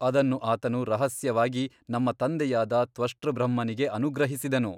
ಅದನ್ನು ಆತನು ರಹಸ್ಯವಾಗಿ ನಮ್ಮ ತಂದೆಯಾದ ತ್ವಷ್ಟೃಬ್ರಹ್ಮನಿಗೆ ಅನುಗ್ರಹಿಸಿದನು.